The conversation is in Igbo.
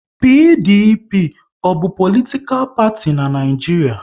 PDP ọ bụ politikal parti n'Naijiria?